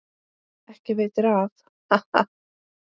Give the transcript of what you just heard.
Ekki veitir af, ha ha!